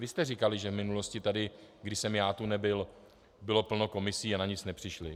Vy jste říkali, že v minulosti tady, když jsem já tu nebyl, bylo plno komisí a na nic nepřišly.